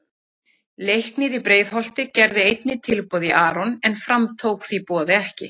Leiknir í Breiðholti gerði einnig tilboð í Aron en Fram tók því boði ekki.